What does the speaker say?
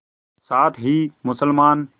साथ ही मुसलमान